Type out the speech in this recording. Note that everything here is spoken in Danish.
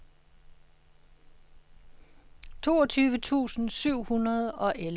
toogtyve tusind syv hundrede og elleve